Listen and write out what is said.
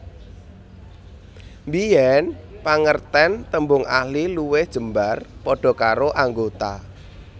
Biyen pangerten tembung ahli luwih jembar padha karo anggota